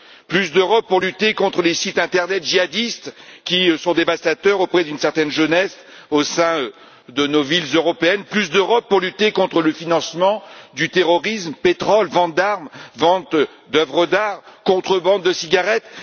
plus d'Europe pour lutter contre les sites internet djihadistes qui ont un effet dévastateur auprès d'une certaine jeunesse au sein de nos villes européennes, plus d'Europe pour lutter contre le financement du terrorisme vente de pétrole, d'armes, d'œuvres d'art et contrebande de cigarettes.